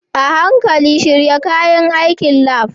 A hankali shirya kayan aikin lab.